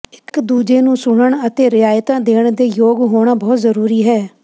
ਇਕ ਦੂਜੇ ਨੂੰ ਸੁਣਨ ਅਤੇ ਰਿਆਇਤਾਂ ਦੇਣ ਦੇ ਯੋਗ ਹੋਣਾ ਬਹੁਤ ਜ਼ਰੂਰੀ ਹੈ